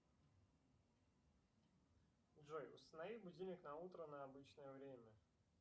джой установи будильник на утро на обычное время